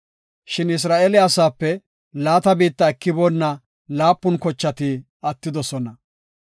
Shin Isra7eele asape laata biitta ekiboonna laapun kochati attidosona.